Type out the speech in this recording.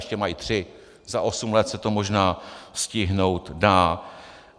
Ještě mají tři, za osm let se to možná stihnout dá.